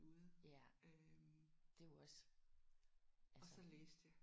Ja det er jo også altså